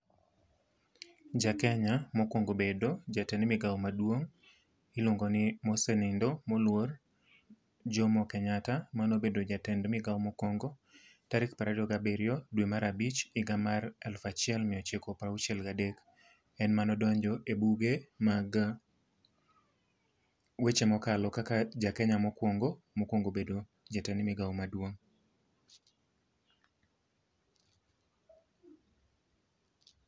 Ja Kenya mokwongo bedo jatend migawo maduong' iluongo ni mosenindo moluor Jomo Kenyatta, manobedo jatend migao mokwongo. Tarik prariyo gabiriyo dwe mar abich higa mar alufachiel miyochiko prauchiel gadek. En manodonjo e buge mag weche mokalo kaka ja Kenya mokwongo, mokwongo bedo jatend migawo maduong'.